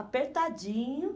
Apertadinho.